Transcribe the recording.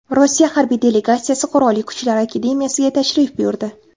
Rossiya harbiy delegatsiyasi Qurolli Kuchlar akademiyasiga tashrif buyurdi.